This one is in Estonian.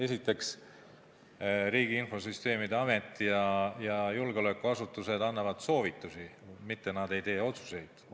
Esiteks, Riigi Infosüsteemi Amet ja julgeolekuasutused annavad soovitusi, mitte ei tee otsuseid.